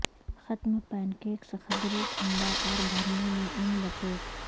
ختم پینکیکس قدرے ٹھنڈا اور بھرنے میں ان لپیٹ